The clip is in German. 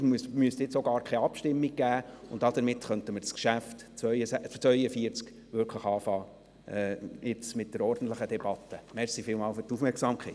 es müsste jetzt auch gar keine Abstimmung geben, so könnten wir jetzt mit der ordentlichen Debatte zum Traktandum 42 beginnen.